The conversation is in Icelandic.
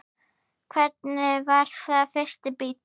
Hvernig var þinn fyrsti bíll?